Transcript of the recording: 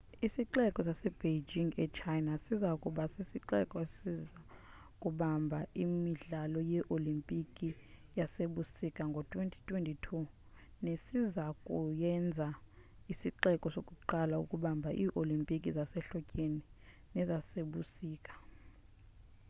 isixeko sasebeijing e-china siza kuba sisixeko esiza kubamba imidlalo yeolimpiki yasebusika ngo-2022 nesiza kuyenza isixeko sokuqala ukubamba ii-olimpiki zasehlotyeni nezasebusika